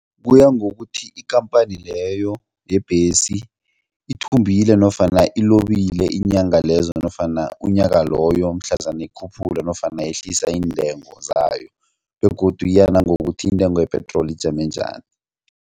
Kuya ngokuthi ikhamphani leyo yebhesi ithumbile nofana ilobile iinyanga lezo nofana unyaka loyo mhlazana ikhuphula nofana yehlisa intengo zayo begodu iya nangokuthi iintengo yepetroli ijame njani.